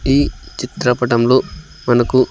ఈ చిత్రపటంలో మనకు--